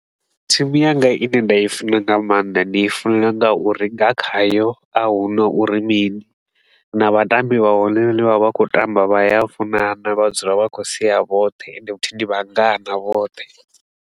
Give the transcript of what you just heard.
Thimu yanga i ne nda i funa nga maanḓa, ndi i funela nga uri nga khayo a huna uri mini. Na vhatambi vhahone hanevha vhane vha vha vha khou tamba vha ya funana, vha dzula vha khou sea vhoṱhe ende futhi ndi vhangana vhoṱhe